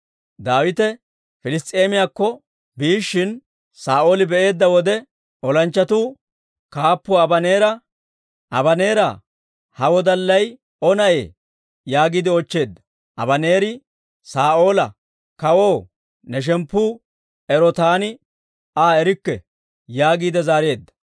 Daawite Piliss's'eemiyaakko biishshin, Saa'ooli be'eedda wode, olanchchatuu kaappuwaa Abaneera, «Abaneera, ha wodallay O na'ee?» yaagiide oochcheedda. Abaneeri Saa'oola, «Kawoo, ne shemppu ero taani Aa erikke» yaagiide zaareedda.